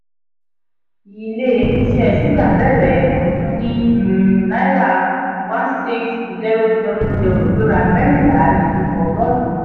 ile-iṣẹ́ suga bẹ̀rẹ̀ ọdún ní um náírà one six zero zero zero gbéra mẹ́rìnlá nínú ogorun.